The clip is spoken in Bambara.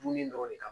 Dumuni dɔrɔn de kan